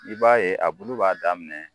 I b'a ye a bulu b'a daminɛ.